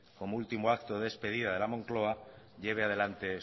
como último acto de despidida de la moncloa lleve adelante